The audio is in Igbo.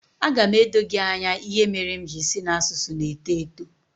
Aga m edo gị anya ihe mere m ji sị na asụsụ na-eto eto